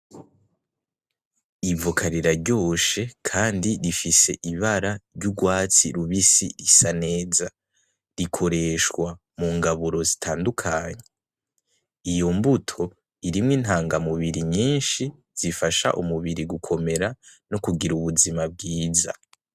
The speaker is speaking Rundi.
Ibovoka riraryoshe kandi rifise ibara ry’urwatsi rubisi isa neza, rikoreshwa mu ngaburo zitandukanye. Iyo mbuto irimwo intangamubiri nyinshi zifasha umubiri gukomera no kugira ubuzima bwiza.